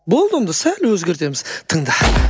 болды онда сәл өзгертеміз тыңда